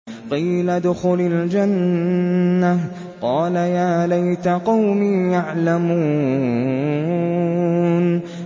قِيلَ ادْخُلِ الْجَنَّةَ ۖ قَالَ يَا لَيْتَ قَوْمِي يَعْلَمُونَ